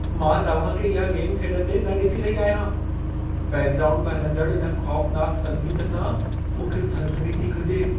मां तव्हां खे इहा गेम खेॾंदे न ॾिसी रही आहियां। बैकग्राऊंड में हलंदड़ इन खौफ़नाक संगीत सां मूंखे थरथरी थी खॼे।